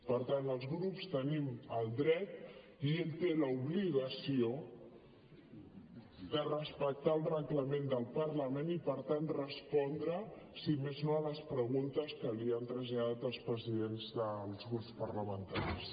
per tant els grups tenim el dret i ell té l’obligació de respectar el reglament del parlament i per tant respondre si més no a les preguntes que li han traslladat els presidents dels grups parlamentaris